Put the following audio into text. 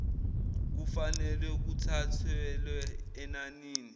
kufanelwe kuthathelwe enanini